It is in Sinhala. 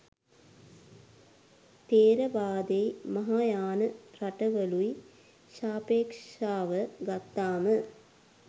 තෙරවාදෙයි මහායාන රටවලුයි ශාපෙක්ෂාව ගත්තාම